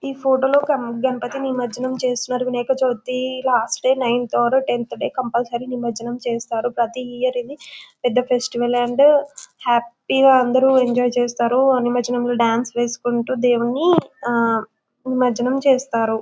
ఈ ఫోటో లో గణపతి నిమర్జనం చేస్తున్నారు Vinayaka Chavithi last day ninth or tenth day compulsory నిమర్జనం చేస్తారు ప్రతి ఇయర్ ఇది పెద్ద ఫెస్టివల్ అండ్ హ్యాపీ గ అందరూ ఎంజాయ్ చేస్తారు నిమర్జనం రోజు డాన్స్ వేసుకుంటూ దేవుడిని ఆ నిమర్జనం చేస్తారు.